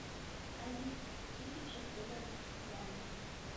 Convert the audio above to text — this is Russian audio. алиса тысяча долларов в франки